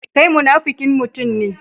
Kai munafukin mutum ne.